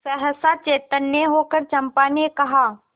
सहसा चैतन्य होकर चंपा ने कहा